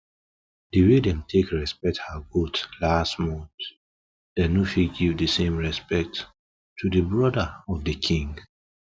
the way them take respect her goats last month them no fit give the same respect to the brother of the king